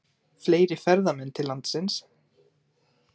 Fleiri ferðamenn til landsins